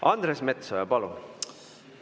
Andres Metsoja, palun!